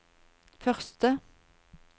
første